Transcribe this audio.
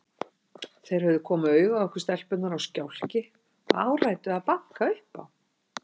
Þeir höfðu komið auga á okkur stelpurnar á stjákli og áræddu að banka upp á.